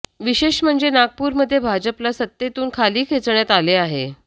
विशेष म्हणजे नागपूरमध्ये भाजपला सत्तेतून खाली खेचण्यात आले आहे